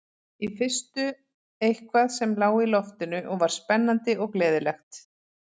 Í fyrstu eitthvað sem lá í loftinu og var spennandi og gleðilegt.